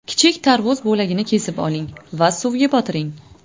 Kichik tarvuz bo‘lagini kesib oling va suvga botiring.